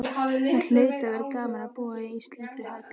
Það hlaut að vera gaman að búa í slíkri höll.